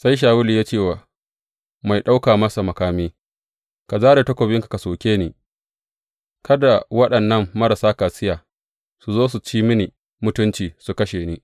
Sai Shawulu ya ce wa mai ɗauka masa makami, Ka zare takobinka ka soke ni, kada waɗannan marasa kaciya su zo su ci mini mutunci, su kashe ni.